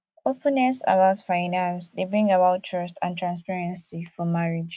openness about finance dey bring about trust and transparency for marriage